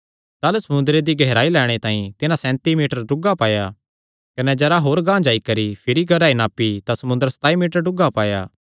ताह़लू समुंदरे दी गेहराई लैणे तांई तिन्हां सैंती मीटर डुगा पाया कने जरा होर गांह जाई करी भिरी गेहराई नापी तां समुंदर सताई मीटर डुगा पाया